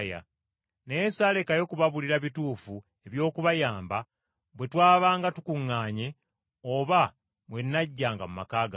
Naye saalekayo kubabuulira bituufu eby’okubayamba, bwe twabanga tukuŋŋaanye oba bwe najjanga mu maka gammwe,